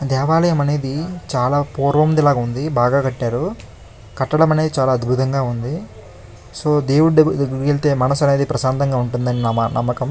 దేవాలయం అనేది చాలా పోర్వంది లాగుంధి బాగా కట్టారు. కట్టడం అనేది చాలా అద్భుతంగా ఉంది. సో దేవుడి దెబ్ దగ్గరికి వెళ్తే మనస్సు అనేది ప్రశాంతంగా ఉంటుంది అని మా నమ్మకం.